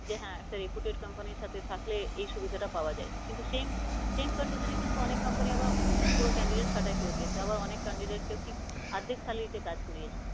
যে হ্যাঁ একটা reputed company ইর সাথে থাকলে এই সুবিধা টা পাওয়া যায়। কিন্তু same same condition এ কিন্তু অনেক company আবার পুরো candidate ছাটাই করে দিয়েছে, আবার অনেক candidate কেও আর্ধেক salary তেও কাজ করিয়েছে।